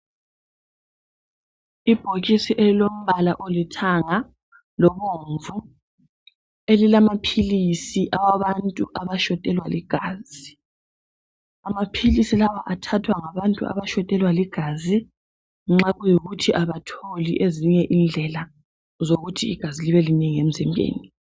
Ibhokisi elilombala olithanga lobomvu elilamaphilisi awabantu abashotelwa ligazi amaphilisi lawa athathwa ngabantu abalegazi elincane nxa kuyikuthi abatholi ezinye indlela zokuthi igazi libe linengi emzimbeni